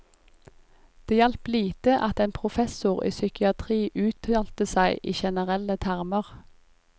Det hjalp lite at en professor i psykiatri uttalte seg i generelle termer.